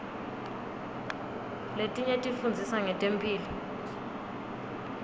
letinye tifundzisa ngetemphilo